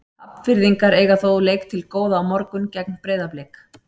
Hafnfirðingar eiga þó leik til góða á morgun gegn Breiðablik.